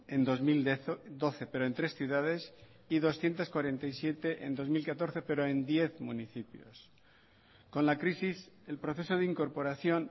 en dos mil doce pero en tres ciudades y doscientos cuarenta y siete en dos mil catorce pero en diez municipios con la crisis el proceso de incorporación